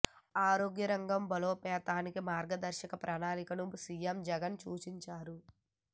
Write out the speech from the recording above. ఆరోగ్య రంగం బలోపేతానికి మార్గదర్శక ప్రణాళికను సీఎం జగన్ సూచించారు